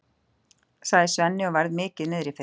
sagði Svenni og var mikið niðri fyrir.